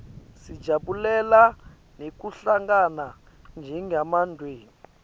sijabulela nekuhlangana njengemndzeni